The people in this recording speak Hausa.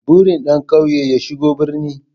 Burin ɗan ƙauye ya shigo birni